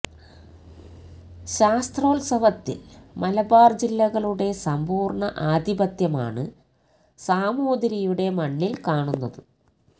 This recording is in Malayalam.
ശാസ്ത്രോത്സവത്തില് മലബാര് ജില്ലകളുടെ സമ്പൂര്ണ ആധിപത്യമാണ് സാമൂതിരിയുടെ മണ്ണില് കാണുന്നത്